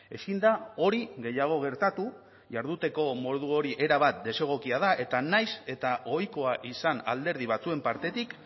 ezin da hori gehiago gertatu jarduteko modu hori erabat desegokia da eta nahiz eta ohikoa izan alderdi batzuen partetik